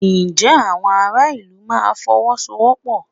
Ǹjẹ́ àwọn ará ìlú máa Fọwọ́sowọ́pọ̀?